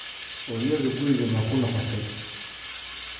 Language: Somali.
Hooyadu guriga ma ku noqotay?